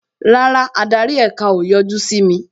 Rárá, adarí èka o yọjú sí mi